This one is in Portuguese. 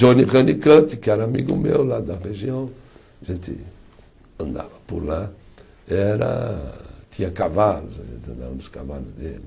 Johnny Honeycutt, que era amigo meu lá da região, a gente andava por lá era, tinha cavalos, a gente andava nos cavalos dele.